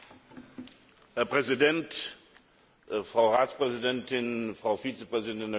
Herr Präsident, Frau Ratspräsidentin, Frau Vizepräsidentin der Kommission!